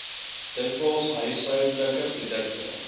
dikwels huishoudelike produkte